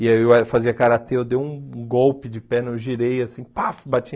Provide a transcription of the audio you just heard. E aí eu fazia Karatê, eu dei um golpe de perna, eu girei, assim, paf, bati.